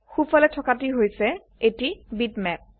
so ফালে থকা টি হৈছে এটি বিটম্যাপ